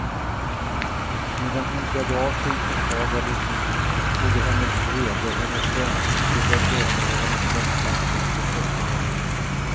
Medan hon klädde av sig försvagades både hennes vrede, hennes hänsyn till den döda och hennes längtan efter ett uppträde.